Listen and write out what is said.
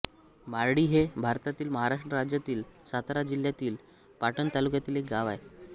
मारळी हे भारतातील महाराष्ट्र राज्यातील सातारा जिल्ह्यातील पाटण तालुक्यातील एक गाव आहे